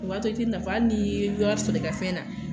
O b'a to i te nafa , hali ni ye wari sɔrɔ i kafɛn na.